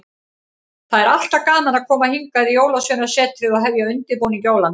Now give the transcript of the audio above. Það er alltaf gaman að koma hingað í Jólasveinasetrið og hefja undirbúning jólanna.